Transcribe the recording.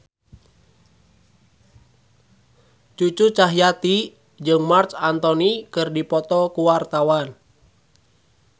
Cucu Cahyati jeung Marc Anthony keur dipoto ku wartawan